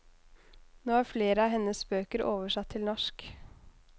Nå er flere av hennes bøker oversatt til norsk.